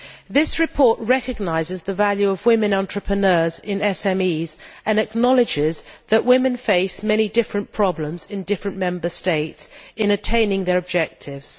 This report recognises the value of women entrepreneurs in SMEs and acknowledges that women face many different problems in different Member States in attaining their objectives.